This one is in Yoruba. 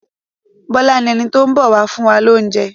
Bọ́lá ni ẹni tó ń bọ̀ wá fún wa lóúnjẹ.